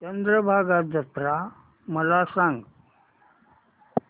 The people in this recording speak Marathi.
चंद्रभागा जत्रा मला सांग